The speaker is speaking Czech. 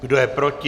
Kdo je proti?